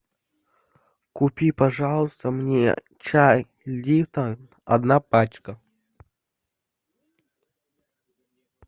купи пожалуйста мне чай липтон одна пачка